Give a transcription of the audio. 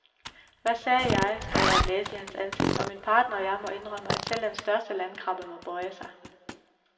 Hvad sagde jeg står der at læse i hans ansigt, og min partner og jeg må indrømme, at selv den største landkrabbe må bøje sig.